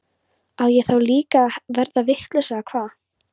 Á ég þá líka að verða vitlaus eða hvað?